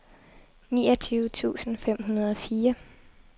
niogtyve tusind fem hundrede og fire